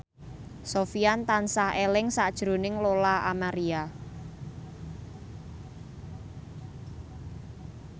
Sofyan tansah eling sakjroning Lola Amaria